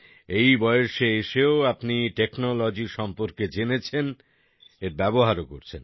এই বয়সে এসেও আপনি টেকনোলজি সম্পর্কে জেনেছেন এর ব্যবহারও করছেন